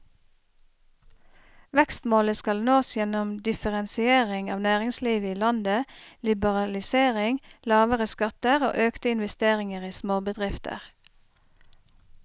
Vekstmålet skal nås gjennom differensiering av næringslivet i landet, liberalisering, lavere skatter og økte investeringer i småbedrifter.